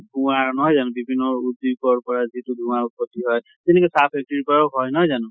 নহয় জানো, বিভিন্ন উদোগ্য়ৰ পৰা যিতো ধুৱাঁৰ উত্‍পতি হয় । যেনেকে চাহ factory ৰ পৰা ও হয়, নহয় জানো ?